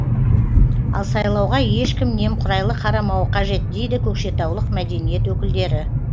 ал сайлауға ешкім немқұрайлы қарамауы қажет дейді көкшетаулық мәдениет өкілдері